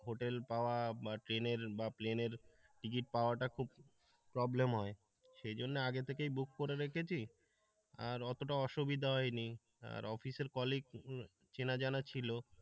Hotel পাওয়া বা ট্রেনের বা প্লেনের টিকিট পাওয়াটা খুব প্রবলেম হয় সেজন্য আগে থেকেই বুক করে রেখেছি আর অতটা অসুবিধা হয়নি, আর অফিসের কলিগ চেনা জানা ছিল।